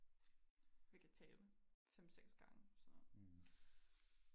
vi kan tale fem seks gange så